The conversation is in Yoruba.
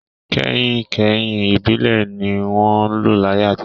Kẹ̀hìnkẹ̀hìn ìbílẹ̀ ni wọ́n n lò láyé àtijọ́